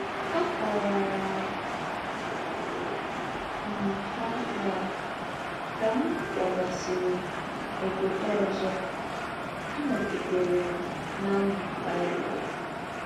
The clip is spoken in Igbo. Àkọ̀wàrà m hà nà, kà m kwàgàsịrị ǒbòdò ọ̀zọ̀, ànọ̀gidèrè m na - àmū Bible.